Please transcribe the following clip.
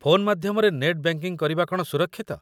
Phone ମାଧ୍ୟମରେ net banking କରିବା କ'ଣ ସୁରକ୍ଷିତ?